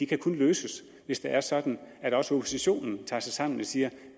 kan løses hvis det er sådan at også oppositionen tager sig sammen og siger